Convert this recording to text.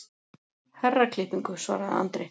Herraklippingu, svaraði Andri.